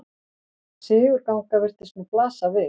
Sigurgangan virtist nú blasa við.